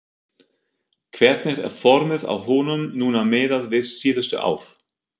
Hvernig er formið á honum núna miðað við síðustu ár?